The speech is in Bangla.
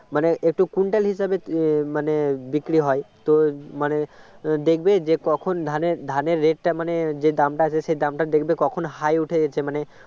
মানে একটু quintal হিসাবে মানে বিক্রি হয় তো মানে দেখবে যে কখন ধানের ধানের rate টা মানে যে দামটা আছে দামটা দেখবে তখন high ওঠে মানে